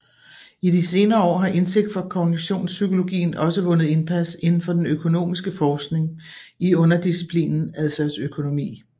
I de senere år har indsigt fra kognitionspsykologien også vundet indpas inden for den økonomiske forskning i underdisciplinen adfærdsøkonomi